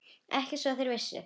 Ekki svo þeir vissu.